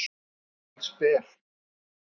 Hann er allsber.